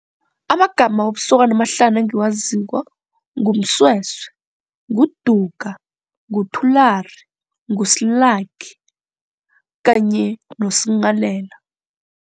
Amagama wobusokana amahlanu engiwaziko nguMsweswe, nguDuga, nguThulari, nguSlaki kanye noSnghalela.